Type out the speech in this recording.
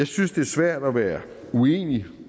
synes det er svært at være uenig